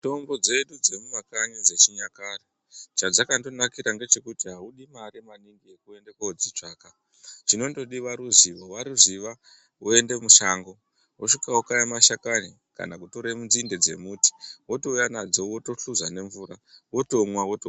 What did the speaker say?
Mitombo dzedu dzemumakanyi dzechinyakare, chadzakandonakira ndechekuti audi mare maningi yekuende kundoutsvaga, chinondodiwa ruzivo, waruziva woende mushango, wosvika wokaya mashakani kana kutora nzinde dzemuti wotouya nadzo wotohluza nemvura wotomwa wotopona.